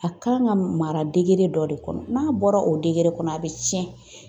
A kan ka mara degere dɔ de kɔnɔ, n'a bɔra o degere kɔnɔ, a bɛ tiɲɛ.